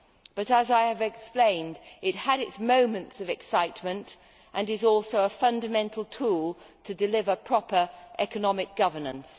But, as I have explained, it had its moments of excitement and is also a fundamental tool to deliver proper economic governance.